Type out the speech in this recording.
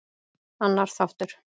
Annar þáttur.